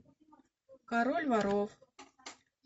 король воров